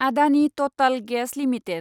Adani Total gas limited